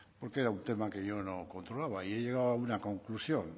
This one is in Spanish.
porque era un tema que yo no controlaba y he llegado a una conclusión